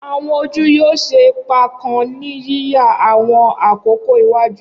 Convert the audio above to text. Awọn oju yoo ṣe ipa kan ni yiya awọn akoko iwaju.